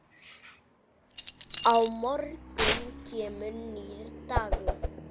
Á morgun kemur nýr dagur.